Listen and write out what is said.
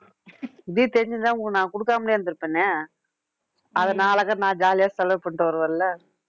இப்படினு தெரிஞ்சிருந்தா உங்களுக்கு நான் கொடுக்காமலே இருந்திருப்பனே அதை நான் jolly ஆ செலவு பண்ணிட்டு வருவேன்ல